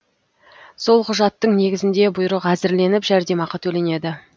сол құжаттың негізінде бұйрық әзірленіп жәрдемақы төленеді